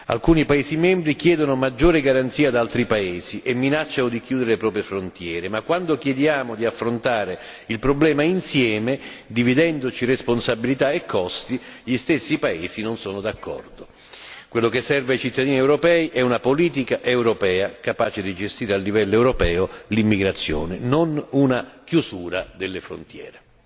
Alcuni paesi membri chiedono maggiore garanzia ad altri paesi e minacciano di chiudere le proprie frontiere, ma quando chiediamo di affrontare il problema insieme, dividendoci responsabilità e costi, gli stessi paesi non sono d'accordo. Quello che serve ai cittadini europei è una politica europea capace di gestire a livello europeo l'immigrazione, non una chiusura delle frontiere.